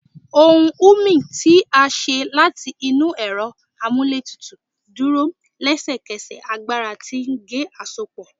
Ohùn humming ti a ṣe lati inu ẹrọ amúlétutùú duro lẹsẹkẹsẹ agbara ti ge-asopo